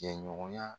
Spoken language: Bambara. Jɛɲɔgɔnya